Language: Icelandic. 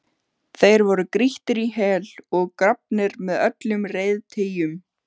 Þeir voru grýttir í hel og grafnir með öllum reiðtygjum.